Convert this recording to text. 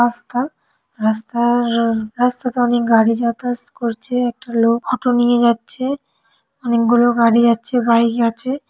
রাস্তা রাস্তার রাস্তাতে অনেক গাড়ি যতায়াত করছে একটা লোক অটো নিয়ে যাচ্ছে। অনেক গুলো গাড়ি যাচ্ছে বাইক আছে।